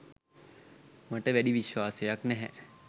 මට වැඩි විශ්වාසයක්‌ නැහැ.